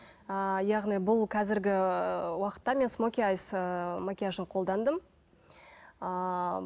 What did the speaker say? ыыы яғни бұл қазіргі уақытта мен смоки айс ыыы макияжын қолдандым ыыы